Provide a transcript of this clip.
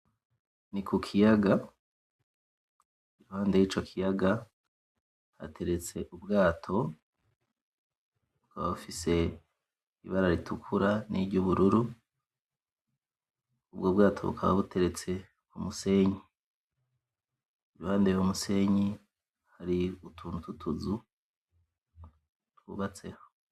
Ni kukiyaga iruhande yico kiyaga hateretse ubwato, bukaba bufise ibara ritukura n'iryubururu ubwo bwato bukaba buteretse kumusenyi iruhande yuwo musenyi hari utuntu twutuzu twubatseho